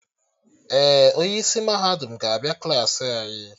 Ee, onye isi mahadum ga-abịa Klassị anyị